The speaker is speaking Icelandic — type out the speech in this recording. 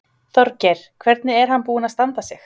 Þorgeir: Hvernig er hann búinn að standa sig?